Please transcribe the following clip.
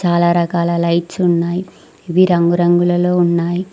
చాలా రకాల లైట్స్ ఉన్నాయ్ ఇవి రంగురంగులలో ఉన్నాయ్.